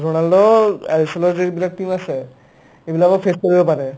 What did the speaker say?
Ronald' আহিছিলে যে এইবিলাক team আছে এইবিলাকক face কৰিব পাৰে